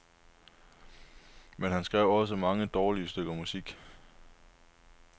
Men han skrev også mange dårlige stykker musik.